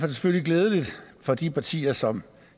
det selvfølgelig glædeligt for de partier som